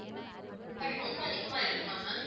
but ரொம்ப அதிகமா இருக்குமா ma'am